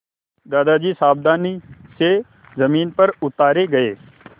दादाजी सावधानी से ज़मीन पर उतारे गए